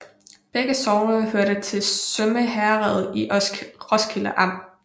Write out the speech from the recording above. Begge sogne hørte til Sømme Herred i Roskilde Amt